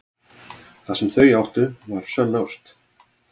Það sem þau áttu var sönn ást.